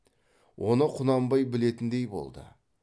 оны құнанбай білетіндей болды